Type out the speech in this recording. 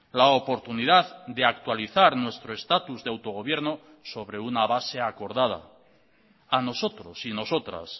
la oportunidad de actualizar nuestro estatus de autogobierno sobre una base acordada a nosotros y nosotras